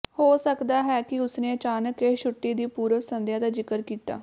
ਹੋ ਸਕਦਾ ਹੈ ਕਿ ਉਸਨੇ ਅਚਾਨਕ ਇਹ ਛੁੱਟੀ ਦੀ ਪੂਰਵ ਸੰਧਿਆ ਦਾ ਜ਼ਿਕਰ ਕੀਤਾ